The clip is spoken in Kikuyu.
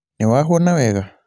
nĩwahũna wega?